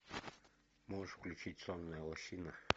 можешь включить сонная лощина